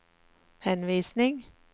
henvisning